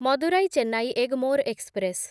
Madurai Chennai Egmore express